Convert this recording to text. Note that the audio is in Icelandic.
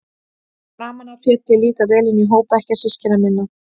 Framan af féll ég líka vel inn í hóp bekkjarsystkina minna.